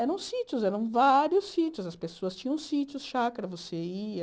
Eram sítios, eram vários sítios, as pessoas tinham sítios, chácara, você ia...